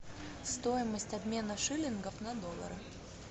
стоимость обмена шиллингов на доллары